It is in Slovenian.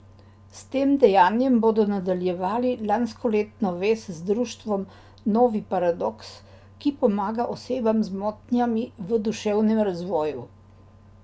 S tem dejanjem bodo nadaljevali lanskoletno vez z društvom Novi Paradoks, ki pomaga osebam z motnjami v duševnem razvoju.